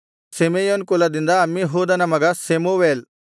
Simeon ಕುಲದಿಂದ ಅಮ್ಮಿಹೂದನ ಮಗ ಶೆಮೂವೇಲ್